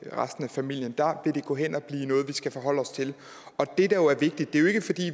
resten af familien der vil det gå hen og blive noget vi skal forholde os til